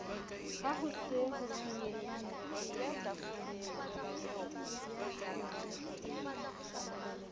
ha ho se ho senyehile